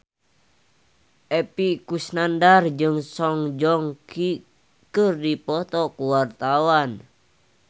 Epy Kusnandar jeung Song Joong Ki keur dipoto ku wartawan